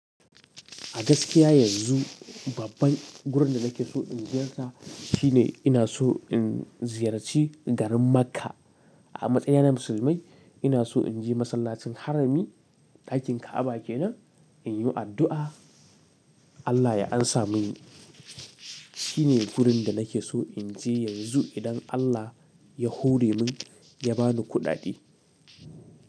A gaskiya yanzu babban gurin da nake so in ziyarta shine ina so in ziyarci garin Makka. A matsayina na musulmai ina so in je masallacin harami dakin Ka'aba kenan in yi addu'a. Allah ya ansa muni. Shine gurin da nake so in je yanzu idan Allah ya hore mun ya bani kuɗaɗe.